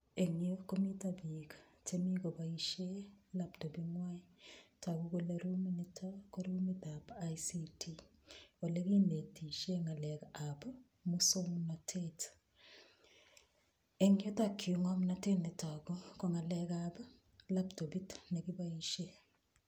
Engyu komito piik chemi koboishe laptoping'wai. Togu kole ruminitok ko rumintab ICT.Olekinetishe ng'alekab muswagnatet. Eng yutokyu, ng'omnotet netagu ko ng'alekab laptopit olekiboishe.